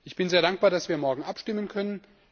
Ich bin sehr dankbar, dass wir morgen abstimmen können.